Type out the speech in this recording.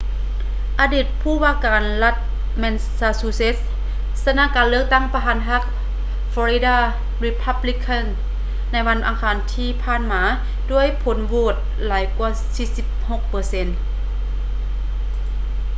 ອະດີດຜູ້ວ່າການລັດແມນຊາຊູເຊັດ mitt romney ຊະນະການເລືອກຕັ້ງປະທານພັກ florida republican ໃນວັນອັງຄານທີ່ຜ່ານມາດ້ວຍຜົນໂຫວດຫຼາຍກວ່າ 46 ເປີເຊັນ